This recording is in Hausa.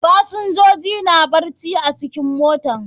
Fasinjoji na barci a cikin mota.